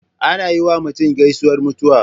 Ana wa mutum gaisuwar mutum